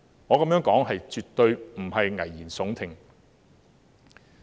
我這樣說絕對不是危言聳聽。